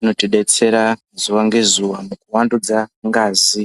inotodetsera zuwa ngezuwa nekuwandudza ngazi.